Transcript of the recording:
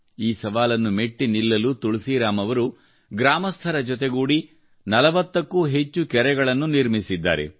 ಈ ಸವಾಲನ್ನು ಮೆಟ್ಟಿ ನಿಲ್ಲಲು ತುಳಸಿರಾಮ್ ಅವರು ಗ್ರಾಮಸ್ಥರ ಜೊತೆಗೂಡಿ 40ಕ್ಕೂ ಹೆಚ್ಚು ಕೆರೆಗಳನ್ನು ನಿರ್ಮಿಸಿದ್ದಾರೆ